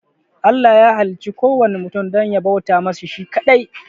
Allah ya halicci kuwanna mutum dan ya bauta masa shi shi kaɗai